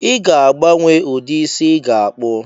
I ga-agbanwe ụdị isi ị ga-akpụ